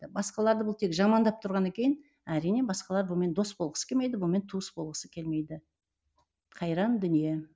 басқаларды бұл тек жамандап тұрғаннан кейін әрине басқалар бұнымен дос болғысы келмейді бұнымен туыс болғысы келмейді қайран дүние